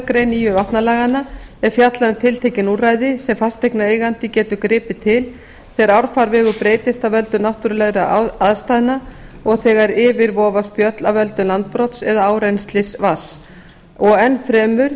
grein nýju vatnalaganna er fjallað um tiltekin úrræði sem fasteignareigandi getur gripið til þegar árfarvegur breytist af völdum náttúrulegra aðstæðna og þegar yfir vofa spjöll af völdum landbrots eða árennslis vatns og enn fremur